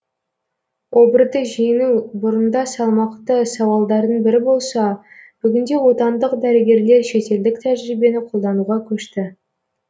обырды жеңу бұрында салмақты сауалдардың бірі болса бүгінде отандық дәрігерлер шетелдік тәжірибені қолдануға көшті